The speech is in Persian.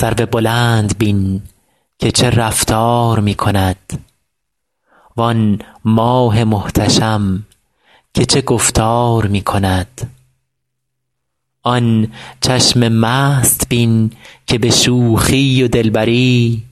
سرو بلند بین که چه رفتار می کند وآن ماه محتشم که چه گفتار می کند آن چشم مست بین که به شوخی و دلبری